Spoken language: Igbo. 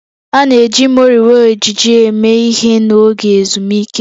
A na-eji moriwo ejiji eme ihe n'oge ezumike